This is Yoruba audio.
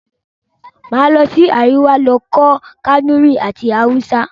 Màá lọ sí Àríwá lọ kọ́ Kànúrí àti Haúsá.